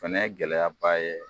Fana ye gɛlɛya ba ye